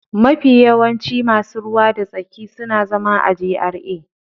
Mafi yawancin masu ruwa da tsaki suna zama a GRA.